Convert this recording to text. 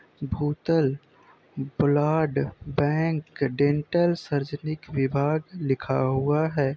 भूतल blood bank dental सर्जेरीक विभाग लिखा हुआ है